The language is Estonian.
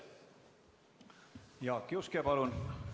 Jaak Juske, palun!